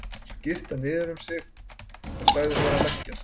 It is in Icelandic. Svo girti hann niður um mig og sagði mér að leggjast.